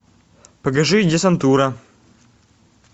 покажи десантура